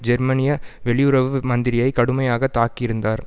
ஜெர்மனிய வெளியுறவு மந்திரியை கடுமையாக தாக்கியிருந்தார்